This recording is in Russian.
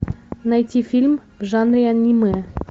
найти фильм в жанре аниме